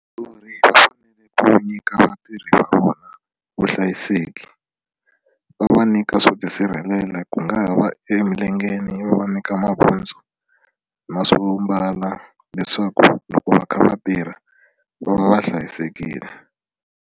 Vathori va fanele ku nyika vatirhi va vona vuhlayiseki va va nyika swo tisirhelela ku nga va emilengeni va va nyika mabutsu na swo mbala leswaku loko va kha va tirha va va va hlayisekile.